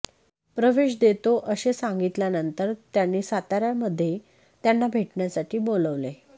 प्रवेश देतो असे सांगितल्यानंतर त्यांनी सातार्यामध्ये त्यांना भेटण्यासाठी बोलवले